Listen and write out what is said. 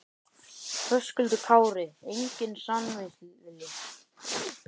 Höskuldur Kári: Enginn samningsvilji?